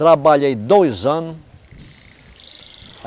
Trabalhei dois anos.